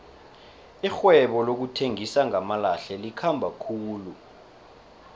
irhwebo lokuthengisa ngamalahle likhamba khulu